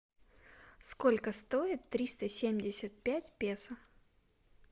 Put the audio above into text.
сколько стоит триста семьдесят пять песо